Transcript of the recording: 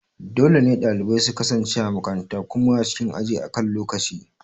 Dole ne dalibai su kasance a makaranta kuma a cikin aji akan lokaci.